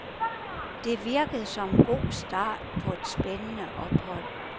Det virkede som en god start på et spændende ophold.